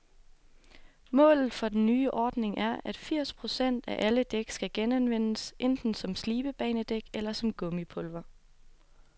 Målet for den nye ordning er, at firs procent af alle dæk skal genanvendes, enten som slidbanedæk eller som gummipulver.